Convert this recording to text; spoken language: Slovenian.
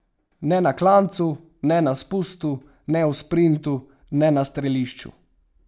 Ne na klancu, ne na spustu, ne v sprintu, ne na strelišču.